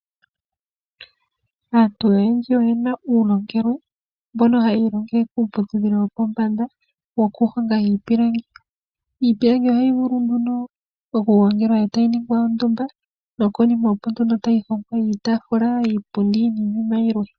Aantu oye na uulongelwe mbono hayi ilongele kiiputudhilo yopombanda yokuhonga iipilangi. Iipilangi ohayi vulu nduno okugongelwa e ta yi ningwa ondumba nokonima, opo nduno tayi hongwa iitaafula, iipundi nayilwe.